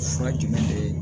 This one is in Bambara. Fura dimi de